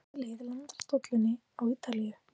Hvaða lið landar dollunni á Ítalíu?